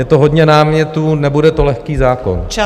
Je to hodně námětů, nebude to lehký zákon.